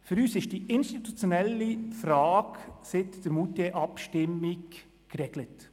Für uns ist die institutionelle Frage seit der Moutier-Abstimmung geregelt.